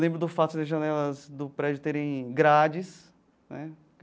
Lembro do fato das janelas do prédio terem grades né.